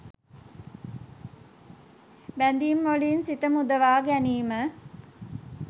බැඳීම්වලින් සිත මුදවාගැනීම,